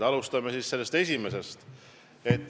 Alustame sellest esimesest.